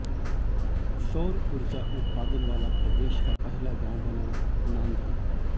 सौर ऊर्जा उत्पादन वाला प्रदेश का पहला गांव बना नांधा